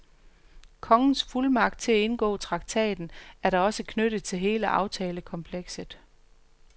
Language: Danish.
Kongens fuldmagt til at indgå traktaten er da også knyttet til hele aftalekomplekset.